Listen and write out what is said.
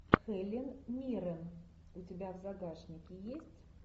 хелен миррен у тебя в загашнике есть